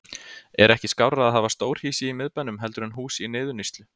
Er ekki skárra að hafa stórhýsi í miðbænum heldur en hús í niðurníðslu?